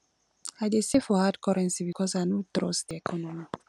i dey save for hard currency because i no trust di economy